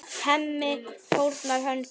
Hemmi fórnar höndum.